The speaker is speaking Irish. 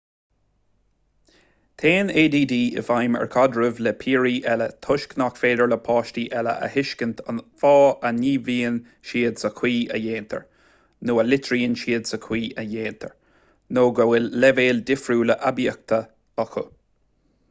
téann add i bhfeidhm ar chaidrimh le piaraí eile toisc nach féidir le páistí eile a thuiscint an fáth a ngníomhaíonn siad sa chaoi a ndéantar nó a litríonn siad sa chaoi a ndéantar nó go bhfuil leibhéal difriúil aibíochta acu